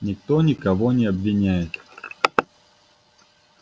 никто никого не обвиняет